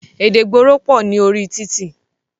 Èdè ìgboro pọ̀ ní orí títì.